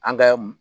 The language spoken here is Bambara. An kɛ